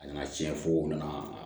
A nana tiɲɛ fo u nana